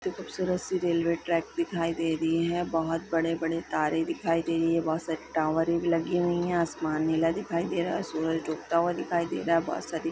खुबसूरत की railway track दिखाई दे रही है बहुत बड़े - बड़े तारे दिखाई दे रही है बहुत सारे टॉवरे लगी हुई है आसमान नीला दिखाई दे रहा है सूरज डूबता हुआ दिखाई दे रहा है बहुत सारी --